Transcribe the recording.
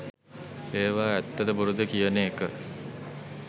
ඒවා ඇත්තද බොරුද කියන එක